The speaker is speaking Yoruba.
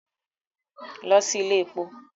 Lọ sí ilé èpo!